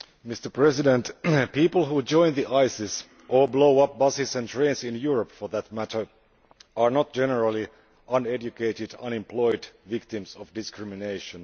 Mr President, people who join ISIS, or blow up buses and trains in Europe for that matter, are not generally uneducated, unemployed victims of discrimination.